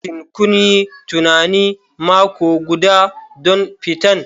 Shin kun yi tunanin mako guda don fitan?